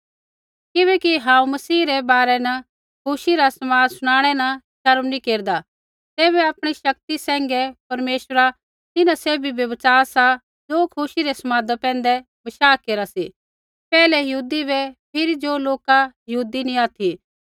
किबैकि हांऊँ मसीह रै बारै न खुशी रा समाद शुनाणै न शर्म नैंई केरदा तैबै आपणी शक्ति सैंघै परमेश्वरा तिन्हां सैभी बै बच़ा सा ज़ो खुशी रै समादा पैंधै बशाह केरा सी पैहलै यहूदी बै फिरी ज़ो लोका यहूदी नी ऑथि